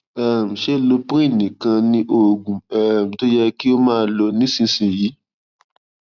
um ṣé loprin nìkan ni oògùn um tó yẹ kí o máa lò nísinsìnyí